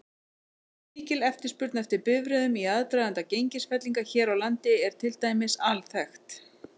Mikil eftirspurn eftir bifreiðum í aðdraganda gengisfellinga hér á landi er til dæmis alþekkt.